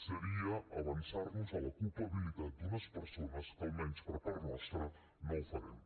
seria avançar nos a la culpabilitat d’unes persones que almenys per part nostra no ho farem